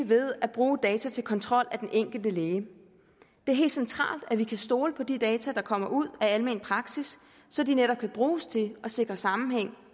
ved at bruge data til kontrol af den enkelte læge det er helt centralt at vi kan stole på de data der kommer ud af almen praksis så de netop kan bruges til at sikre sammenhæng